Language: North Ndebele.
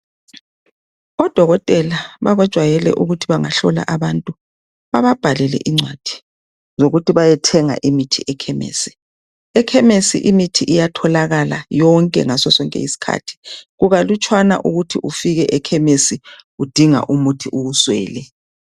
odokotela bajwayele ukuthi bangahlola abantu bababhalele incwadi ukuthi bethenga imithi ekhemisi ekhemesi imithi iyatholakala yonke ngaso sonke isikhathi kukalutshwana ukuthi ufike ekhemesi udinga umuthi uwuswele